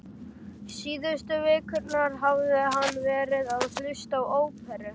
Síðustu vikurnar hafði hann verið að hlusta á óperu